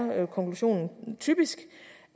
konklusionen typisk